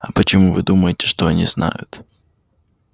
а почему вы думаете что они знают